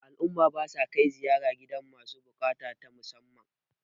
al'umma ba sa kai ziyara gidan masu bukata ta musamman